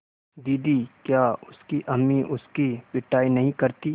दीदी क्या उसकी अम्मी उसकी पिटाई नहीं करतीं